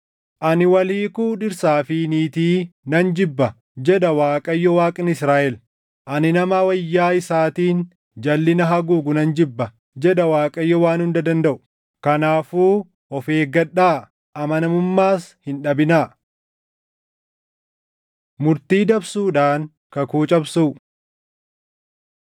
“Ani wal hiikuu dhirsaa fi niitii nan jibba” jedha Waaqayyo Waaqni Israaʼel; “Ani nama wayyaa isaatiin jalʼina haguugu nan jibba” jedha Waaqayyo Waan Hunda Dandaʼu. Kanaafuu of eeggadhaa; amanamummaas hin dhabinaa. Murtii Dabsuudhaan Kakuu Cabsuu